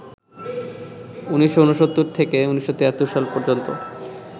১৯৬৯ থেকে ১৯৭৩ সাল পর্যন্ত